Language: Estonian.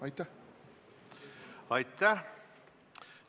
Aitäh!